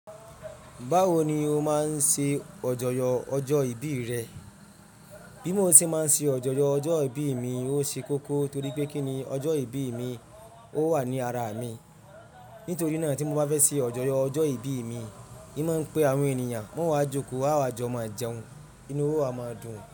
Báwo ni o máa ń ṣe ọ̀jọ̀yọ̀ ọjọ́ ìbí rẹ? Bí mo ṣe máa ń ṣe ajọ̀yọ̀ ọjọ́ ìbí mi, ó ṣe kókó torí pé kí ni ọjọ́ ìbí mi? Ó wà ní ara mi. Nítorí náà tí mo bá fẹ́ ṣe ajọ̀yọ̀ ọjọ́ ìbí mi, ì má ń pe àwọn ènìyàn, wọn o wá joko, àwa jọ máa jẹun, inú wá o máa dùn.